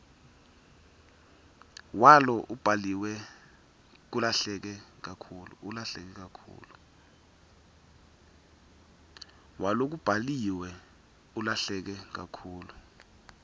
walokubhaliwe ulahleke kakhulu